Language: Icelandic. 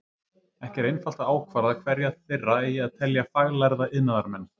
Ekki er einfalt að ákvarða hverja þeirra eigi að telja faglærða iðnaðarmenn.